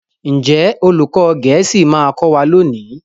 Njé olùkó gèésì ma kò wá lóni?